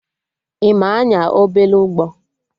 Ị ma anya obele ụgbọ?